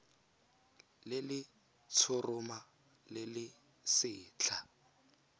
le letshoroma le le setlha